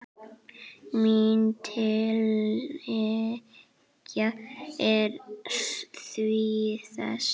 Mín tillaga er því þessi